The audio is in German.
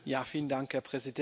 Herr Präsident!